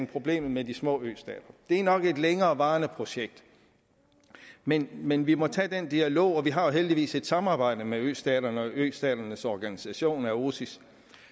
problemet med de små østater det er nok et længerevarende projekt men men vi må tage den dialog og vi har jo heldigvis et samarbejde med østaterne og østaternes organisation aosis